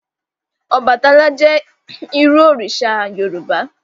Ọbàtálá jẹ́ irú òrìṣà Yorùbá